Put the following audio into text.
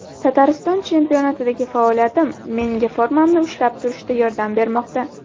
Tatariston chempionatidagi faoliyatim menga formamni ushlab turishda yordam bermoqda.